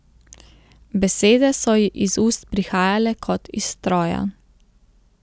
Besede so ji iz ust prihajale kot iz stroja.